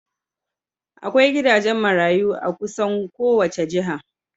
Akwai gidajen marayu a kusan kowace jiha.